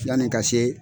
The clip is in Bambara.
Yani ka se